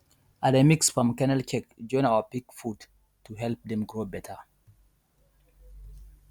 i dey mix palm kernel cake join our pig food to help dem grow better